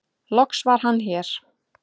loks var Hann hér